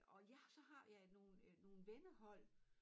Og jeg så har jeg nogen øh nogen vennehold